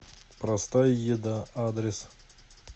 простая еда адрес